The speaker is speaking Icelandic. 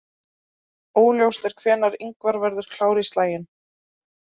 Óljóst er hvenær Ingvar verður klár í slaginn.